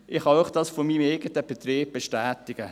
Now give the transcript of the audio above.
Das kann ich Ihnen von meinem eigenen Betrieb bestätigen.